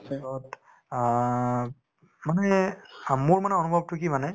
আ মানে অ মোৰ মানে অনুভৱতো কি মানে